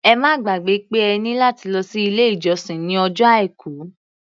Ẹ má gbàgbẹ́ pé ẹ ní láti lọ sí ilé-ìjọsìn ní ọjọ́ Àìkú.